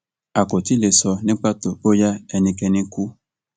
a kò tí ì lè sọ ní pàtó bóyá ẹnikẹni kú